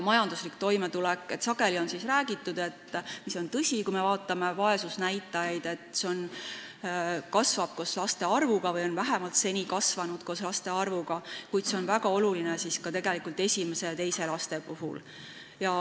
Majandusliku toimetuleku kohta on räägitud – mis on tõsi –, et kui me vaatame vaesusnäitajaid, siis näeme, et vaesusrisk kasvab koos laste arvuga või on vähemalt seni kasvanud koos laste arvuga, kuid see on väga oluline ka esimese ja teise lapse puhul.